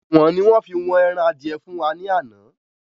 Ìwọ̀n ni wọ́n fí wọn ẹran adìẹ fún wa ni àná.